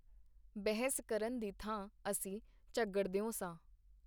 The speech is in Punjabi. ਬਹਿਸ ਕਰਨ ਦੀ ਥਾਂ ਅਸੀਂ ਝਗੜਦਿਓ ਸਾਂ.